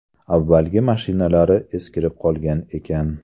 Avvalgi mashinalari eskirib qolgan ekan.